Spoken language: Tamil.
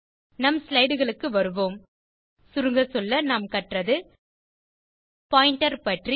நம் ஸ்லைடு க்கு வருவோம் சுருங்க சொல்ல நாம் கற்றது பாயிண்டர் பற்றி